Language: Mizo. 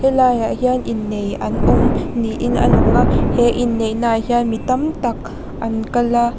he laiah hian innei an awm niin a lang a he inneihna ah hian mi tam tak an kal a.